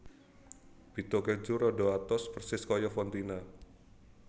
Bitto Keju rada atos persis kaya fontina